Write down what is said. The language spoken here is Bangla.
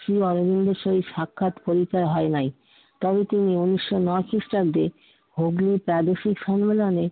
শ্রী অরবিন্দের সঙ্গে সাক্ষাৎ পরিচয় হয় নাই। তবে তিনি উনিশশো নয় খ্রিস্টাব্দে হগলি প্রাদেশিক সম্মেলনে